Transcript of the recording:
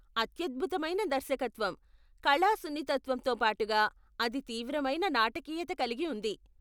అత్యద్భుతమైన దర్శకత్వం, కళా సున్నితత్వంతో పాటుగా అది తీవ్రమైన నాటకీయత కలిగి ఉంది.